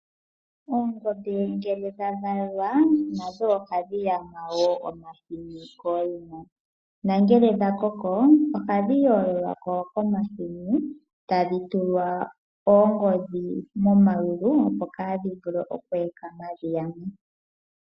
Oongombe ngele dha valwa nadho ohadhi yama wo omahini kooyina. Nangele dha koko ohadhpangulwa ko komahini tadhi tulwa oongodhi momayulu opo kaadhi vule oku ekama dhi yame.